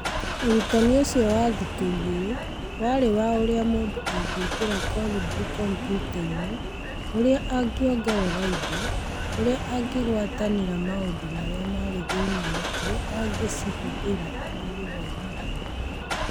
Ũrutani ũcio wa thikũ igĩrĩ warĩ wa ũrĩa mũndũ angĩkĩra Kolibri kompiuta-inĩ, ũrĩa angĩongerera indo, ũrĩa angĩgwatanĩra maũndũ marĩa marĩ thĩinĩ na ũrĩa angĩcihũthĩra harĩ gũthomithia.